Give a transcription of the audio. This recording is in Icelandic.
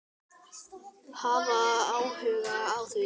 Hafa áhuga á því.